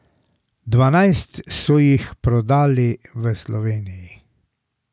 Dvanajst so jih prodali v Sloveniji.